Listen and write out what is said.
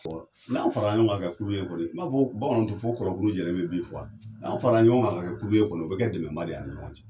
N'an fara ɲɔgɔn kan ka kɛ kulu kɔni n m'a fɔ bamananw tɛ fo ko kɔnɔ kulu jɛlen bɛ bi fɔ wa n'an fara ɲɔgɔn kan ka kɛ kulu ye kɔni o bɛ kɛ dɛmɛ ba de ye an ni ɲɔgɔn cɛ.